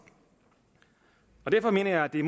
mener jeg at det